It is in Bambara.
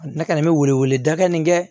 Ne kɔni bɛ wele wele dakanni kɛ